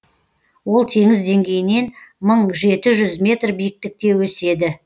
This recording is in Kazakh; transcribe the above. ол теңіз деңгейінен мың жеті жүз метр биіктікте өседі